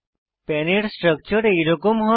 পান এর স্ট্রাকচার এইরকম হয়